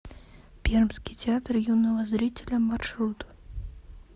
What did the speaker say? пермский театр юного зрителя маршрут